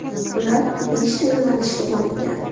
Ular beshta yo‘nalishga bo‘lingan.